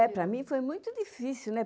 É, para mim foi muito difícil, né?